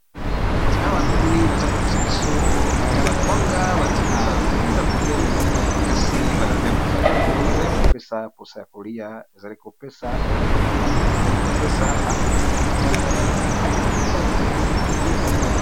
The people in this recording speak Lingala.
Awa tomoni bazali kolakisa biso ba kwanga batie na ndunda pembeni, pe balambi yango kitoko